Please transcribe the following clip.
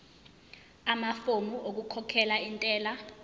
amafomu okukhokhela intela